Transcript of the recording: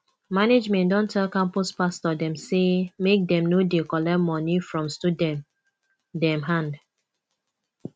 management don tell campus pastor dem sey make dem no dey collect moni from student dem hand